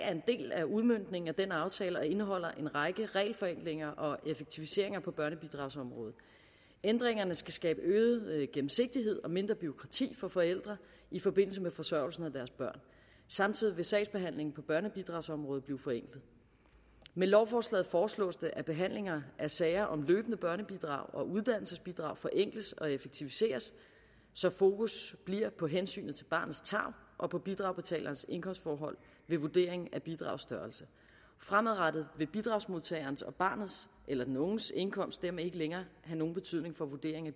af udmøntningen af den aftale og indeholder en række regelforenklinger og effektiviseringer på børnebidragsområdet ændringerne skal skabe øget gennemsigtighed og mindre bureaukrati for forældre i forbindelse med forsørgelsen af deres børn samtidig vil sagsbehandlingen på børnebidragsområdet blive forenklet med lovforslaget foreslås det at behandlingen af sager om løbende børnebidrag og uddannelsesbidrag forenkles og effektiviseres så fokus bliver på hensynet til barnets tarv og på bidragsbetalerens indkomstforhold ved vurderingen af bidragets størrelse fremadrettet vil bidragsmodtagerens og barnets eller den unges indkomst dermed ikke længere have nogen betydning for vurderingen af